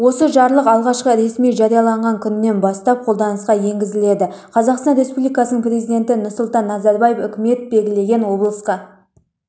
осы жарлық алғашқы ресми жарияланған күнінен бастап қолданысқа енгізіледі қазақстан республикасының президенті назарбаев үкімет белгілеген облысқа